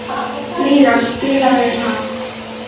Lýra, spilaðu lag.